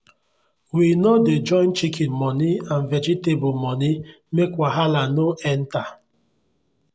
we no dey join chicken moni and vegetable moni make wahala no enter.